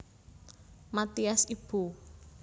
Mathias Ibo